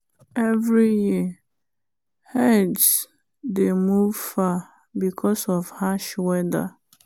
every year herds dey move far because of harsh weather.